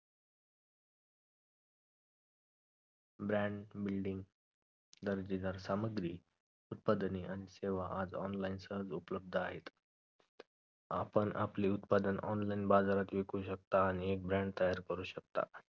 brand building आणि दर्जेदार सामग्री उत्पादने आणि सेवा आज online सहज उपलब्ध आहेत आपण आपले उत्पादन online बाजारात विकू शकता आणि आणि एक brand तयार करू शकता